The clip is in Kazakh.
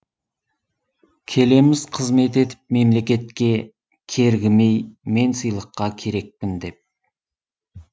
келеміз қызмет етіп мемлекетке кергімей мен сыйлыққа керекпін деп